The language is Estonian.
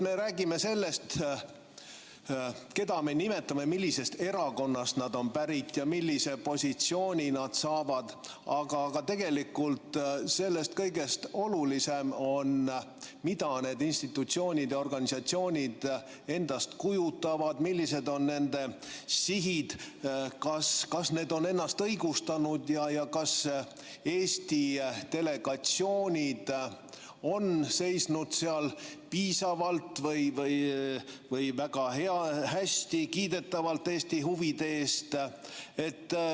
Me räägime sellest, keda me nimetame, millisest erakonnast nad on pärit ja millise positsiooni nad saavad, aga tegelikult on kõigest olulisem see, mida need institutsioonid ja organisatsioonid endast kujutavad, millised on nende sihid, kas need on ennast õigustanud ja kas Eesti delegatsioonid on seisnud seal piisavalt või väga hästi ja kiidetavalt Eesti huvide eest.